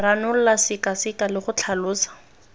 ranola sekaseka le go tlhalosa